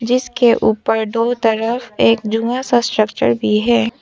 इसके ऊपर दो तरफ एक जुआ सा स्ट्रक्चर दिये है।